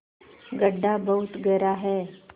गढ्ढा बहुत गहरा है